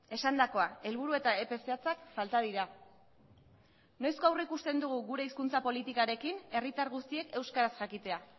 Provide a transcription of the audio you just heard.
esandakoa helburu eta epe zehatzak falta dira noizko aurrikusten dugu gure hizkuntza politikarekin herritar guztiek euskaraz jakitea